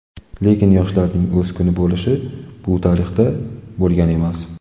Lekin yoshlarning o‘z kuni bo‘lishi bu tarixda bo‘lgan emas.